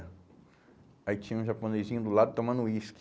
Aí tinha um japonesinho do lado tomando uísque.